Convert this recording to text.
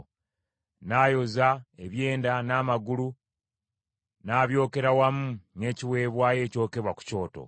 N’ayoza ebyenda n’amagulu, n’abyokera wamu n’ekiweebwayo ekyokebwa ku kyoto.